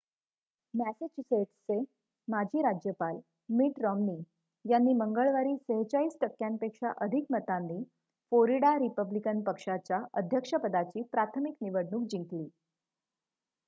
मॅसेच्युसेट्सचे माजी राज्यपाल Mitt Romney यांनी मंगळवारी ४६ टक्क्यांपेक्षा अधिक मतांनी फोरिडा रिपब्लिकन पक्षाच्या अध्यक्षपदाची प्राथमिक निवडणूक जिंकली